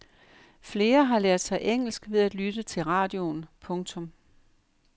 Flere har lært sig engelsk ved at lytte til radioen. punktum